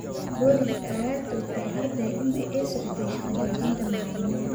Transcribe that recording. Booliska ayaa toogtay arday intii ay socotay shaqa joojinta macalimiinta.